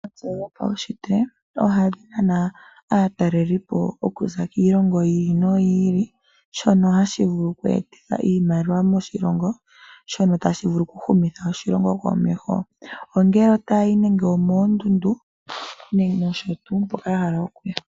Eshito ohali nana aatalelipo okuza kiilongo yi ili noyi ili shono hashi vulu oku etitha iimaliwa moshilongo, shono tashi vulu oku humitha oshilongo komeho. Ongele otaya yi nenge omoondundu nenge keshe tuu mpoka ya hala.